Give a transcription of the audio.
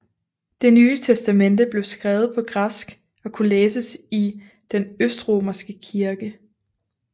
Det Nye Testamente blev skrevet på græsk og kunne læses i den østromerske kirke